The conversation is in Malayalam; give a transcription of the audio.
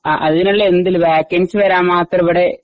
അതിനുള്ള എന്തില് വേക്കൻസി വരാൻ മാത്രം ഇവിടെ